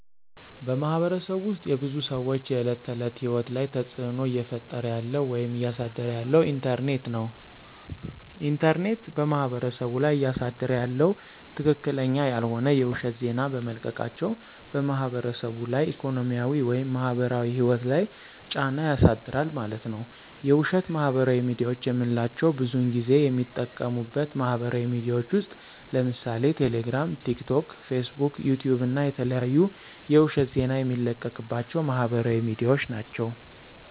በማህበረሰቡ ውስጥ የብዙ ሰዎች የዕለት ተዕለት ህይወት ላይ ተፅዕኖ እየፈጠረ ያለው ወይም እያሳደረ ያለው ኢንተርኔት ነው። ኢንተርኔት በማህበረሰቡ ላይ እያሳደረ ያለው ትክክለኛ ያልሆነ የውሸት ዜና በመልቀቃቸው በማህበረሰቡ ላይ ኢኮኖሚያዊ ወይም ማህበራዊ ህይወት ላይ ጫና ያሳድራል ማለት ነዉ። የውሸት ማህበራዊ ሚድያዎች የምንላቸው ብዙን ጊዜ የሚጠቀሙበት ማህበራዊ ሚድያዎች ውስጥ ለምሳሌ ቴሌግራም፣ ቲክቶክ፣ ፌስቡክ፣ ዩቲዩብ እና የተለያዩ የውሸት ዜና የሚለቀቅባቸው ማህበራዊ ሚድያዎች ናቸው።